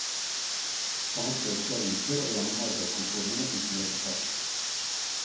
Han har søkt i aviser og gjennom arbeidskontorene uten resultat.